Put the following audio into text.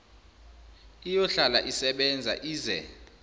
iyohlala isebenza ize